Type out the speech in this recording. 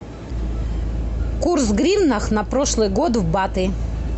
курс в гривнах на прошлый год в баты